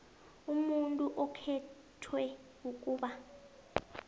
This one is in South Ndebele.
umuntu okhethwe ukuba